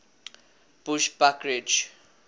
bushbuckridge